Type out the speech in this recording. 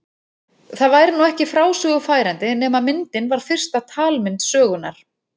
Það væri nú ekki frásögu færandi nema myndin var fyrsta talmynd sögunnar.